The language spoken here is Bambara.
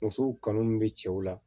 Musow kanu min bɛ cɛw la